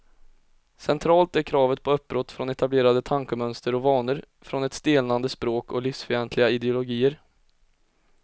Centralt är kravet på uppbrott från etablerade tankemönster och vanor, från ett stelnande språk och livsfientliga ideologier.